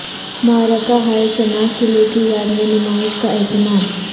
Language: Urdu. معرکہ ہائے چناق قلعے کی یاد میں نمائش کا اہتمام